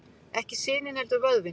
Ekki sinin heldur vöðvinn.